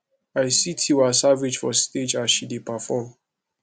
i see tiwa savage for stage as she dey perform